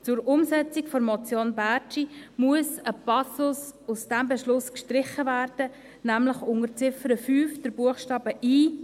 Zur Umsetzung der Motion Bärtschi muss ein Passus aus diesem Beschluss gestrichen werden, nämlich unter Ziffer 5 Buchstabe i: